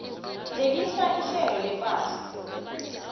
phelisa ihlelo lepahla